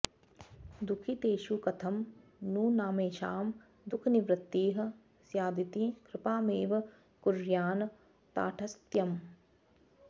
दुःखितेषु कथं नु नामैषां दुःखनिवृत्तिः स्यादिति कृपामेव कुर्यान्न ताटस्थ्यम्